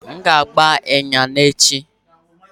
M ga-agba ịnyịnya n'echi